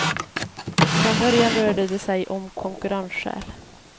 Från början rörde det sig om konkurrensskäl.